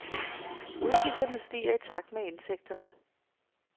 Udgifterne stiger i takt med indtægterne.